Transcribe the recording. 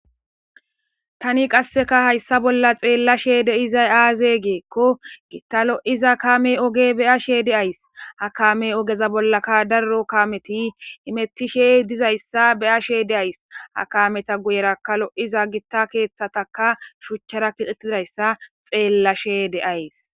tani qasseka hayssa bolla xeella she de7izay aaze geekko gitta lo7iza kame oge bea she de ays ha kame ogeza bollaka darro kaameti imettishe dizayssa beya she deays ha kameta guyeraka lo7iza gitta keeththataka shuchchara kixetidayssa xeellashe deayys